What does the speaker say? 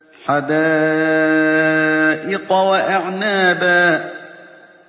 حَدَائِقَ وَأَعْنَابًا